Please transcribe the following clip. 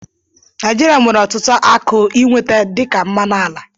Naijirịa nwere ọtụtụ akụ ịnweta dị ka mmanụ ala.